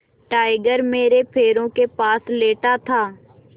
tiger मेरे पैरों के पास लेटा था